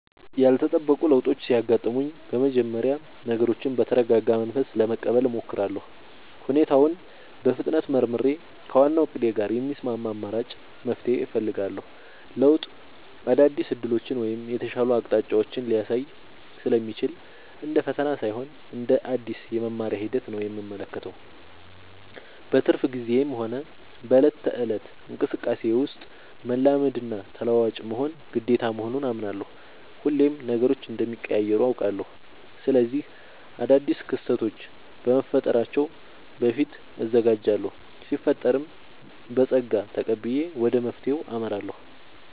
ያልተጠበቁ ለውጦች ሲያጋጥሙኝ በመጀመሪያ ነገሮችን በተረጋጋ መንፈስ ለመቀበል እሞክራለሁ። ሁኔታውን በፍጥነት መርምሬ፣ ከዋናው እቅዴ ጋር የሚስማማ አማራጭ መፍትሄ እፈልጋለሁ። ለውጥ አዳዲስ ዕድሎችን ወይም የተሻሉ አቅጣጫዎችን ሊያሳይ ስለሚችል፣ እንደ ፈተና ሳይሆን እንደ አዲስ የመማሪያ ሂደት ነው የምመለከተው። በትርፍ ጊዜዬም ሆነ በዕለት ተዕለት እንቅስቃሴዬ ውስጥ፣ መላመድና ተለዋዋጭ መሆን ግዴታ መሆኑን አምናለሁ። ሁሌም ነገሮች እንደሚቀያየሩ አውቃለሁ። ስለዚህ አዳዲስ ክስተቶች ከመፈጠራቸው በፊት እዘጋጃለሁ ሲፈጠርም በፀጋ ተቀብዬ ወደ መፍትሄው አመራለሁ።